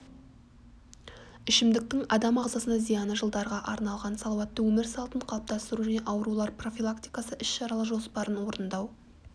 ішімдіктің адам ағзасына зияны жылдарға арналған салауатты өмір салтын қалыптастыру және аурулар профилактикасы іс-шаралар жоспарын орындау